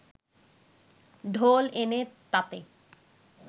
ঢোল এনে তাতে